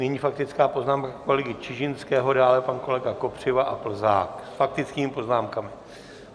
Nyní faktická poznámka kolegy Čižinského, dále pan kolega Kopřiva a Plzák s faktickými poznámkami.